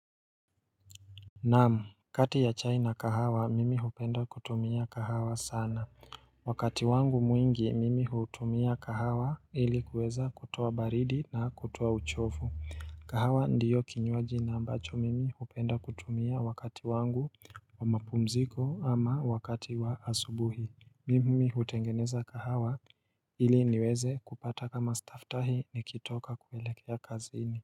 Naam. Kati ya chai na kahawa mimi hupenda kutumia kahawa sana. Wakati wangu mwingi mimi hutumia kahawa ili kuweza kutoa baridi na kutoa uchofu. Kahawa ndio kinywaji na ambacho mimi hupenda kutumia wakati wangu wa mapumziko ama wakati wa asubuhi. Mimi hutengeneza kahawa ili niweze kupata kama staftahi nikitoka kuelekea kazini.